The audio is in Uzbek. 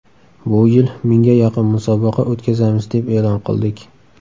Bu yil mingga yaqin musobaqa o‘tkazamiz deb e’lon qildik.